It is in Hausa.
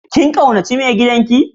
Kin kaunace Mai gidan ki?